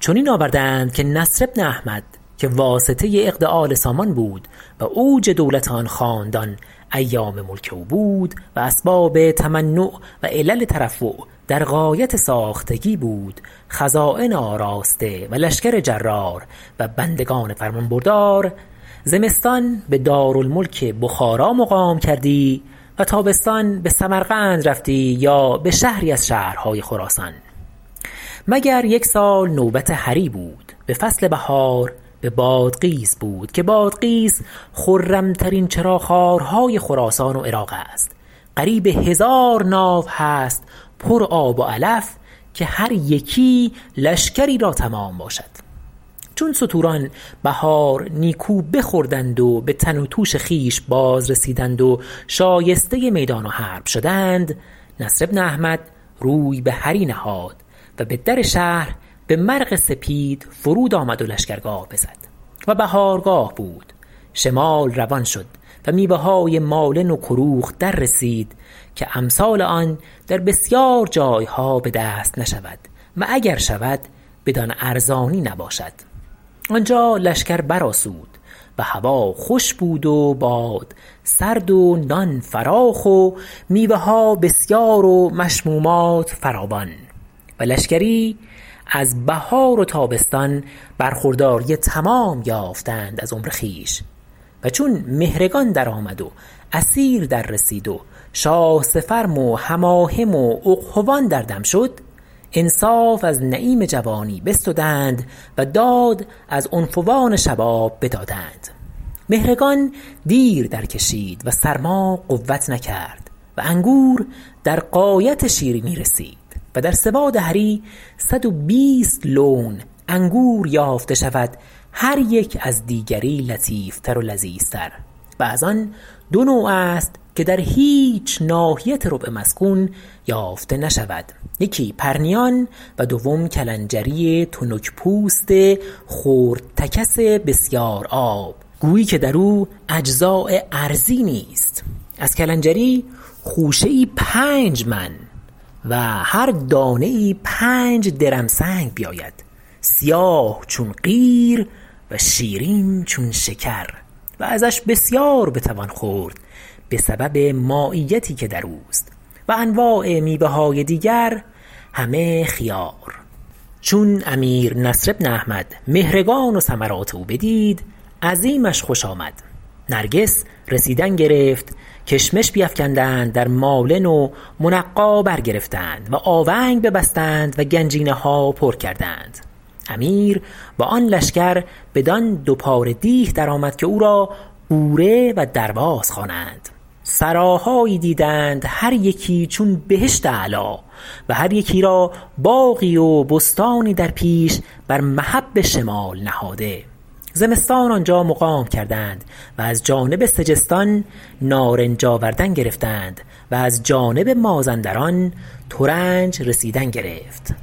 چنین آورده اند که نصر بن احمد که واسطه عقد آل سامان بود و اوج دولت آن خاندان ایام ملک او بود و اسباب تمنع و علل ترفع در غایت ساختگی بود خزاین آراسته و لشکر جرار و بندگان فرمانبردار زمستان به دارالملک بخارا مقام کردی و تابستان به سمرقند رفتی یا به شهری از شهرهای خراسان مگر یک سال نوبت هری بود به فصل بهار به بادغیس بود که بادغیس خرم ترین چراخوارهای خراسان و عراق است قریب هزار ناو هست پر آب و علف که هر یکی لشکری را تمام باشد چون ستوران بهار نیکو بخوردند و به تن و توش خویش باز رسیدند و شایسته میدان و حرب شدند نصر بن احمد روی به هری نهاد و به در شهر به مرغ سپید فرود آمد و لشکرگاه بزد و بهارگاه بود شمال روان شد و میوه های مالن و کروخ در رسید که امثال آن در بسیار جای ها به دست نشود و اگر شود بدان ارزانی نباشد آنجا لشکر برآسود و هوا خوش بود و باد سرد و نان فراخ و میوه ها بسیار و مشمومات فراوان و لشکری از بهار و تابستان برخورداری تمام یافتند از عمر خویش و چون مهرگان درآمد و عصیر در رسید و شاه سفرم و حماحم و اقحوان در دم شد انصاف از نعیم جوانی بستدند و داد از عنفوان شباب بدادند مهرگان دیر درکشید و سرما قوت نکرد و انگور در غایت شیرینی رسید و در سواد هری صد و بیست لون انگور یافته شود هر یک از دیگری لطیف تر و لذیذتر و از آن دو نوع است که در هیچ ناحیت ربع مسکون یافته نشود یکی پرنیان و دوم کلنجری تنک پوست خردتکس بسیارآب گویی که در او اجزاء ارضی نیست از کلنجری خوشه ای پنج من و هر دانه ای پنج درمسنگ بیاید سیاه چون قیر و شیرین چون شکر و ازش بسیار بتوان خورد به سبب ماییتی که در اوست و انواع میوه های دیگر همه خیار چون امیر نصر بن احمد مهرگان و ثمرات او بدید عظیمش خوش آمد نرگس رسیدن گرفت کشمش بیفکندند در مالن و منقی برگرفتند و آونگ ببستند و گنجینه ها پر کردند امیر با آن لشکر بدان دو پاره دیه در آمد که او را غوره و درواز خوانند سراهایی دیدند هر یکی چون بهشت اعلی و هر یکی را باغی و بستانی در پیش بر مهب شمال نهاده زمستان آنجا مقام کردند و از جانب سجستان نارنج آوردن گرفتند و از جانب مازندران ترنج رسیدن گرفت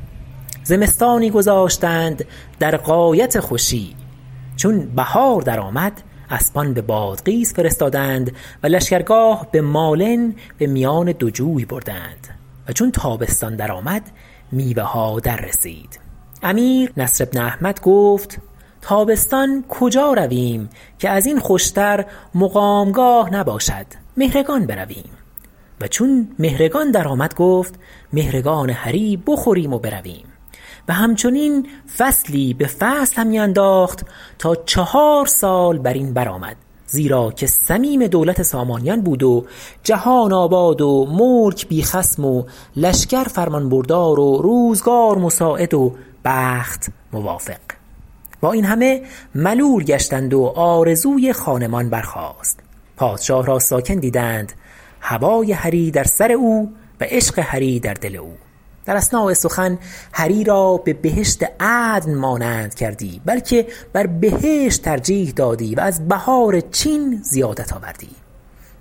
زمستانی گذاشتند در غایت خوشی چون بهار در آمد اسبان به بادغیس فرستادند و لشکرگاه به مالن به میان دو جوی بردند و چون تابستان درآمد میوه ها در رسید امیر نصر بن احمد گفت تابستان کجا رویم که از این خوشتر مقامگاه نباشد مهرگان برویم و چون مهرگان درآمد گفت مهرگان هری بخوریم و برویم همچنین فصلی به فصل همی انداخت تا چهار سال بر این برآمد زیرا که صمیم دولت سامانیان بود و جهان آباد و ملک بی خصم و لشکر فرمانبردار و روزگار مساعد و بخت موافق با این همه ملول گشتند و آرزوی خانمان برخاست پادشاه را ساکن دیدند هوای هری در سر او و عشق هری در دل او در اثناء سخن هری را به بهشت عدن مانند کردی بلکه بر بهشت ترجیح نهادی و از بهار چین زیادت آوردی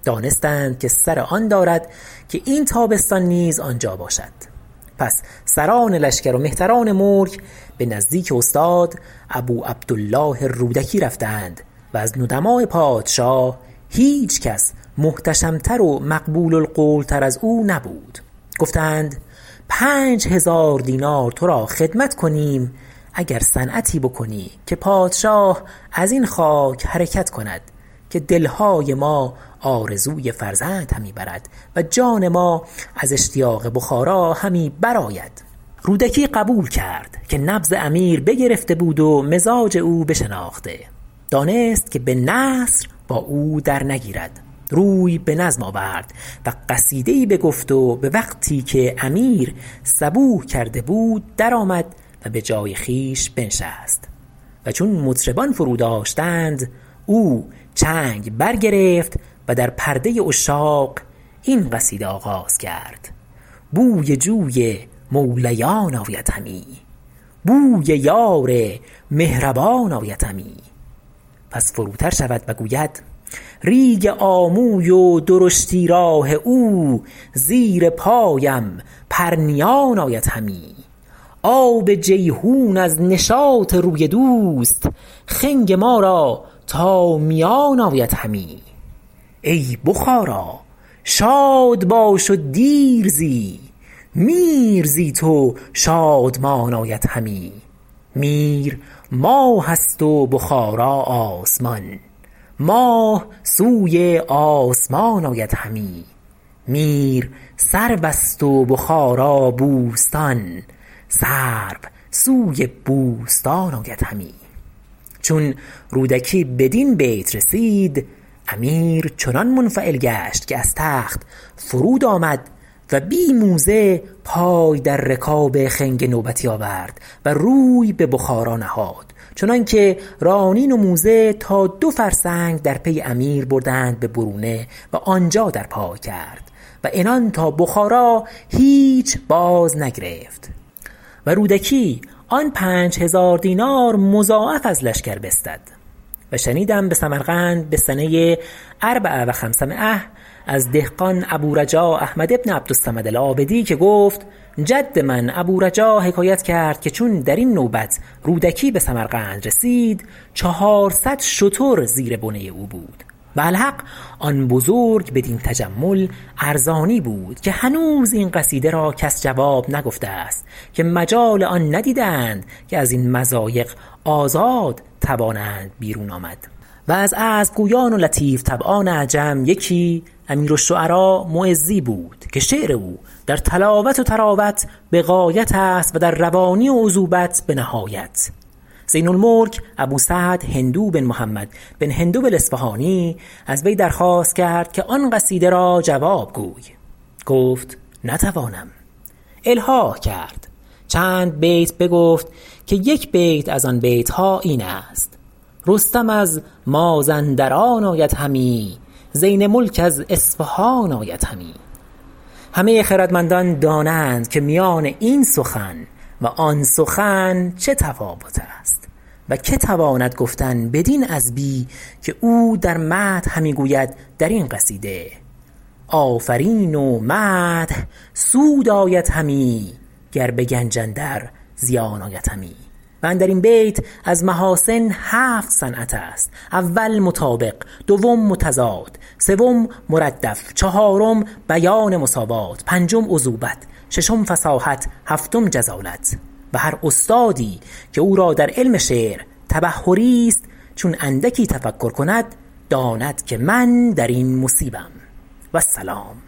دانستند که سر آن دارد که این تابستان نیز آنجا باشد پس سران لشکر و مهتران ملک به نزدیک استاد ابوعبدالله الرودکی رفتند -و از ندماء پادشاه هیچ کس محتشم تر و مقبول القول تر از او نبود- گفتند پنج هزار دینار تو را خدمت کنیم اگر صنعتی بکنی که پادشاه از این خاک حرکت کند که دل های ما آرزوی فرزند همی برد و جان ما از اشتیاق بخارا همی برآید رودکی قبول کرد که نبض امیر بگرفته بود و مزاج او بشناخته دانست که به نثر با او در نگیرد روی به نظم آورد و قصیده ای بگفت و به وقتی که امیر صبوح کرده بود درآمد و به جای خویش بنشست و چون مطربان فرو داشتند او چنگ برگرفت و در پرده عشاق این قصیده آغاز کرد بوی جوی مولیان آید همی بوی یار مهربان آید همی پس فروتر شود و گوید ریگ آموی و درشتی راه او زیر پایم پرنیان آید همی آب جیحون از نشاط روی دوست خنگ ما را تا میان آید همی ای بخارا شاد باش و دیر زی میر زی تو شادمان آید همی میر ماه است و بخارا آسمان ماه سوی آسمان آید همی میر سرو است و بخارا بوستان سرو سوی بوستان آید همی چون رودکی بدین بیت رسید امیر چنان منفعل گشت که از تخت فرود آمد و بی موزه پای در رکاب خنگ نوبتی آورد و روی به بخارا نهاد چنان که رانین و موزه تا دو فرسنگ در پی امیر بردند به برونه و آنجا در پای کرد و عنان تا بخارا هیچ جای بازنگرفت و رودکی آن پنج هزار دینار مضاعف از لشکر بستد و شنیدم به سمرقند به سنه أربع و خمس مأه از دهقان ابو رجا احمد ابن عبدالصمد العابدی که گفت جد من ابو رجا حکایت کرد که چون در این نوبت رودکی به سمرقند رسید چهارصد شتر زیر بنه او بود و الحق آن بزرگ بدین تجمل ارزانی بود که هنوز این قصیده را کس جواب نگفته است که مجال آن ندیده اند که از این مضایق آزاد توانند بیرون آمد و از عذب گویان و لطیف طبعان عجم یکی امیرالشعراء معزی بود که شعر او در طلاوت و طراوت به غایت است و در روانی و عذوبت به نهایت زین الملک ابو سعد هندو بن محمد بن هندو الاصفهانی از وی درخواست کرد که آن قصیده را جواب گوی گفت نتوانم الحاح کرد چند بیت بگفت که یک بیت از آن بیت ها این است رستم از مازندران آید همی زین ملک از اصفهان آید همی همه خردمندان دانند که میان این سخن و آن سخن چه تفاوت است و که تواند گفتن بدین عذبی که او در مدح همی گوید در این قصیده آفرین و مدح سود آید همی گر به گنج اندر زیان آید همی و اندر این بیت از محاسن هفت صنعت است اول مطابق دوم متضاد سوم مردف چهارم بیان مساوات پنجم عذوبت ششم فصاحت هفتم جزالت و هر استادی که او را در علم شعر تبحری است چون اندکی تفکر کند داند که من در این مصیبم و السلام